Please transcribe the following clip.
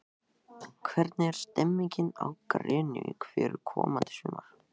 Hvernig er stemmingin á Grenivík fyrir komandi sumar?